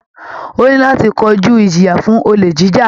Ó ní láti kojú ìjìyà fún olè jíjà